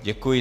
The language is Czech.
Děkuji.